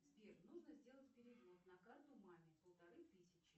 сбер нужно сделать перевод на карту маме полторы тысячи